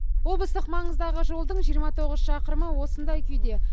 облыстық маңыздағы жолдың жиырма тоғыз шақырымы осындай күйде